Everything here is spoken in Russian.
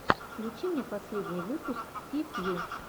включи мне последний выпуск ти фью